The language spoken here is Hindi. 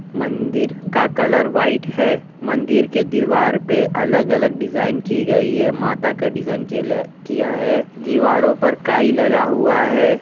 मंदिर का कलर व्हाइट है मंदिर के दीवार पे अलग अलग डिजाइन की गई है माता का डिजाइन कियल किया है दीवारों पर काई लगा हुआ है।